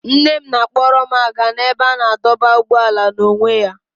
Nne m na-akpọrọ m aga n'ebe a na-adọba ụgbọala n'onwe ya.